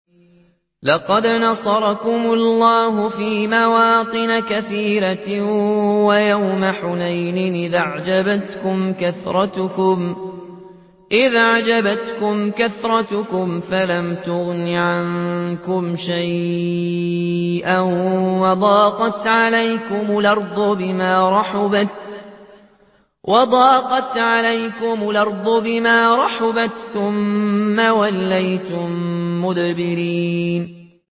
لَقَدْ نَصَرَكُمُ اللَّهُ فِي مَوَاطِنَ كَثِيرَةٍ ۙ وَيَوْمَ حُنَيْنٍ ۙ إِذْ أَعْجَبَتْكُمْ كَثْرَتُكُمْ فَلَمْ تُغْنِ عَنكُمْ شَيْئًا وَضَاقَتْ عَلَيْكُمُ الْأَرْضُ بِمَا رَحُبَتْ ثُمَّ وَلَّيْتُم مُّدْبِرِينَ